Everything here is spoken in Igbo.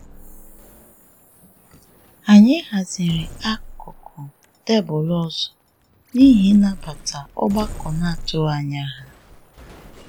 Anyị haziri akụkụ tebụlụ ọzọ n'ihi ịnabata ọgbakọ n'atụghị ányá ha.